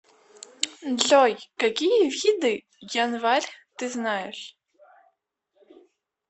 джой какие виды январь ты знаешь